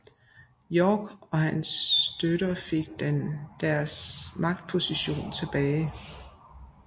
York og hans støtter fik deres magtposition tilbage